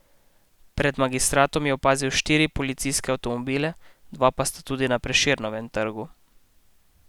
Pred Magistratom je opaziti štiri policijske avtomobile, dva pa sta tudi na Prešernovem trgu.